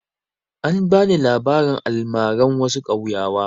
An ba ni labarin almaran wasu ƙauyawa.